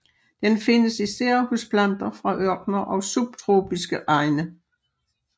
Den findes især hos planter fra ørkener og subtropiske egne